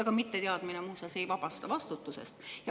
Ka mitteteadmine muuseas ei vabasta vastutusest.